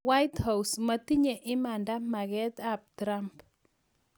White house:matinye imanda maket ab Trump.